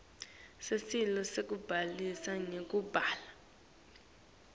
sicelo sekubhaliswa ngekubhala